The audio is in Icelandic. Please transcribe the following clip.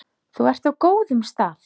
Þú ert á góðum stað.